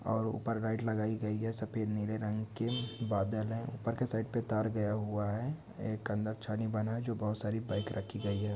और ऊपर गाइड लगाई गई है सफ़ेद नील रंग के बदल है ऊपर के साइड पेंटर गया हुआ है एक अच्छा नहीं बना जो बहुत साड़ी बाइक गई है।